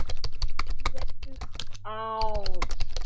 Þinn Pétur Ás.